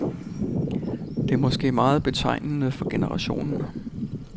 Det er måske meget betegnende for generationen.